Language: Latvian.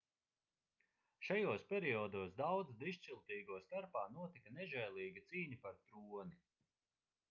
šajos periodos daudzu dižciltīgo starpā notika nežēlīga cīņa par troni